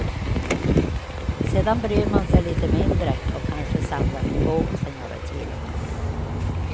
Sedan bryr man sig lite mindre och kanske samlar på sig några kilon.